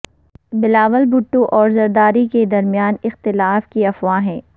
بلاول بھٹو اور زرداری کے درمیان اختلاف کی افواہیں